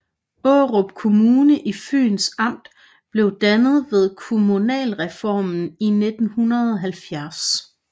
Aarup Kommune i Fyns Amt blev dannet ved kommunalreformen i 1970